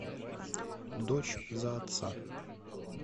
дочь за отца